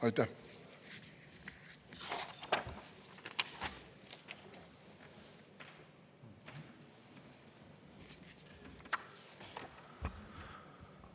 Aitäh!